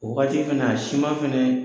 O wagati kana a siman fɛnɛ